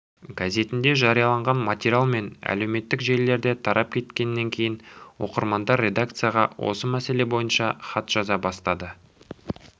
газетінде жарияланған материал мен әлеуметтік желілерде тарап кеткенінен кейін оқырмандар редакцияға осы мәселе бойынша хат жаза бастады